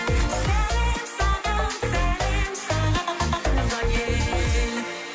сәлем саған сәлем саған туған ел